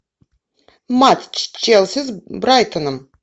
матч челси с брайтоном